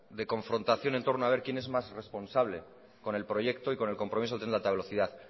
de confrontaciones en torno a ver quién es más responsable con el proyecto y con el compromiso del tren de alta velocidad